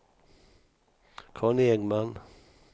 Conny Engman